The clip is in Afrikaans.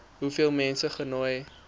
hoeveel mense genooi